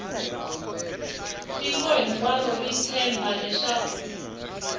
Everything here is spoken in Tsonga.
tiko hinkwaro ri tshemba leswaku